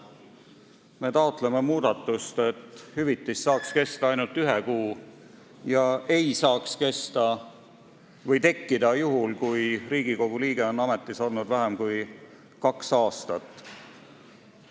Me taotleme muudatust, et hüvitis saaks kesta ainult ühe kuu ja see ei saaks tekkida juhul, kui Riigikogu liige on ametis olnud vähem kui kaks aastat.